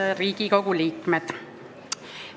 Head Riigikogu liikmed!